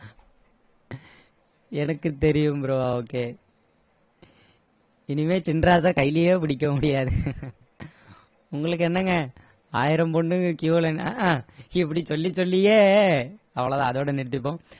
எனக்கு தெரியும் bro okay இனிமே சின்ராச கையிலையே பிடிக்க முடியாது உங்களுக்கு என்னங்க ஆயிரம் பொண்ணுங்க queue ல நிப்பாங்க அஹான் இப்படி சொல்லி சொல்லியே அவ்ளோ தான் அதோட நிறுத்திப்போம்